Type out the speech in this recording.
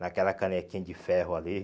Naquela canequinha de ferro ali.